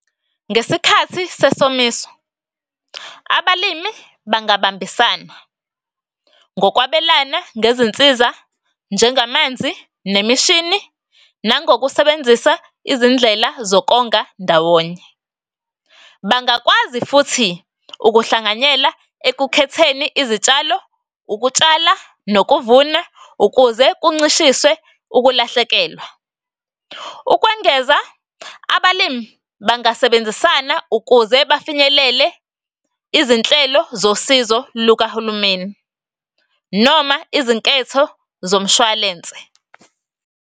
Ngesikhathi sesomiso, abalimi bangabambisana ngokwabelana ngezinsiza njengamanzi nemishini, nangokusebenzisa izindlela zokonga ndawonye. Bangakwazi futhi ukuhlanganyela ekukhetheni izitshalo, ukutshala nokuvuna ukuze kuncishiswe ukulahlekelwa. Ukwengeza, abalimi bangasebenzisana ukuze bafinyelele izinhlelo zosizo lukahulumeni, noma izinketho zomshwalense.